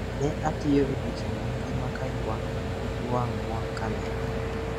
"Ne atiyo odiechieng' mangima ka ywak pi wang' mor ka anene."